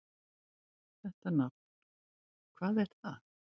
Þetta nafn: hvað var það?